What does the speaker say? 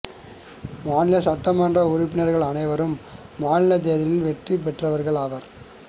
மாநிலச் சட்ட மன்ற உறுப்பினர்கள் அனைவரும் மாநிலத் தேர்தலில் வெற்றி பெற்றவர்கள் ஆவர்